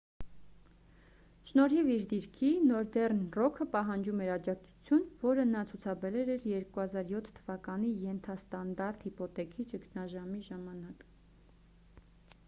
շնորհիվ իր դիրքի նորդեռն ռոքը պահանջում էր աջակացություն որը նա ցուցաբերել էր 2007 թվականի ենթաստանդարտ հիփոթեքի ճգնաժամի ժամանակ